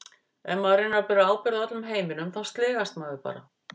Ef maður reynir að bera ábyrgð á öllum heiminum þá sligast maður bara.